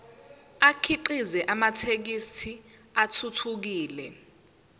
akhiqize amathekisthi athuthukile